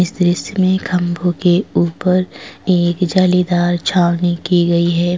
इस दृश्य में खंबू के ऊपर एक जलेदार छावनी की गई है।